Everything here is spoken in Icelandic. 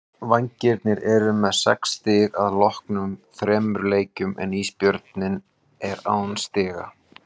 Vængirnir eru með sex stig að loknum þremur leikjum en Ísbjörninn er án stiga.